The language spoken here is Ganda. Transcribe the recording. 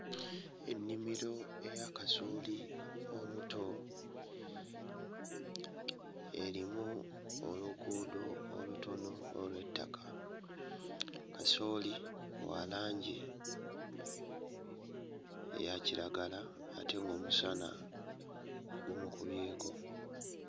Ennimiro eya kasooli omuto erimu oluguudo olutono olw'ettaka. Kasooli wa langi eya kiragala ate ng'omusana gumukubyeko.